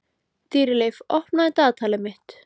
Dýrleif, opnaðu dagatalið mitt.